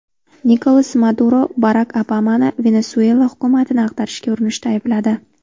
Nikolas Maduro Barak Obamani Venesuela hukumatini ag‘darishga urinishda aybladi.